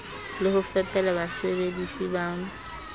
le ho fepela basebedisi ba